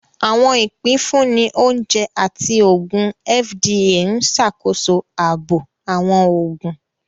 Awọn ipinfunni Oúnjẹ àti Oògùn (FDA) n ṣàkóso ààbò awọn oògùn